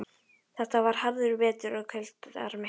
Þetta var harður vetur og kuldar miklir.